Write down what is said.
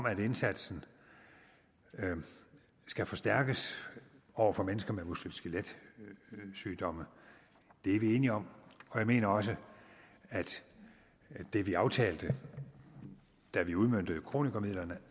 at indsatsen skal forstærkes over for mennesker med muskel skelet sygdomme det er vi enige om og jeg mener også at det vi aftalte da vi udmøntede kronikermidlerne